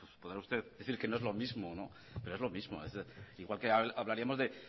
podrá usted decir que no es lo mismo pero es lo mismo igual que hablaríamos de